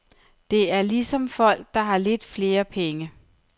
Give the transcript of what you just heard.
Det er ligesom folk, der har lidt flere penge.